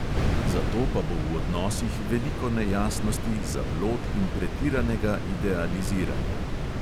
Zato pa bo v odnosih veliko nejasnosti, zablod in pretiranega idealiziranja.